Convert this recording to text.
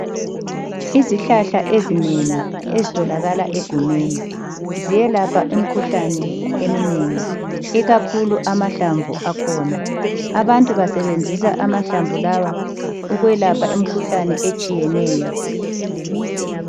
Izihlahla ezinengi ezitholakala egumeni, ziyelapha imikhuhlane eminengi ikakhulu amahlamvu akhona, abantu basebenzisa amahlamvu lawa ukwelapha imikhuhlane etshiyeneyo.